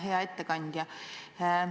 Hea ettekandja!